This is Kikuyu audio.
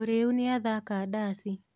Mũrĩu nĩathaka daci.